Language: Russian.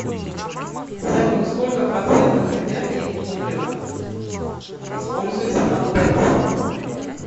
салют сколько процентов энергии топлива используется на тэц